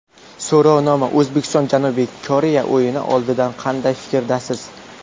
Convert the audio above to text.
So‘rovnoma: O‘zbekiston Janubiy Koreya o‘yini oldidan qanday fikrdasiz?.